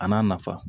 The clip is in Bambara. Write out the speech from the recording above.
A n'a nafa